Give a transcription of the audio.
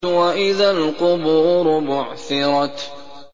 وَإِذَا الْقُبُورُ بُعْثِرَتْ